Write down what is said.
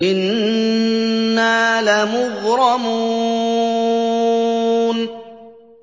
إِنَّا لَمُغْرَمُونَ